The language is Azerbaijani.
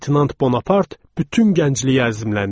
Leytenant Bonapart bütün gəncliyi əzimləndirdi.